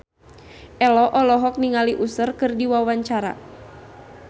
Ello olohok ningali Usher keur diwawancara